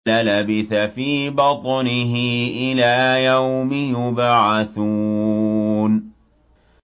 لَلَبِثَ فِي بَطْنِهِ إِلَىٰ يَوْمِ يُبْعَثُونَ